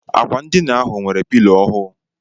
Akwa ndịna ahụ nwere pilo ọhụụ.